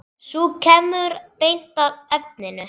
Sú kemur beint að efninu!